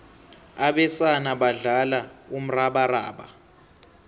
abesana badlala umrabaraba